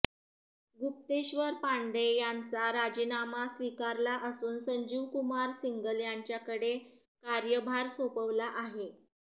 गुप्तेश्वर पांडे यांचा राजीनामा स्वीकारला असून संजीव कुमार सिंगल यांच्याकडे कार्यभार सोपवला आहे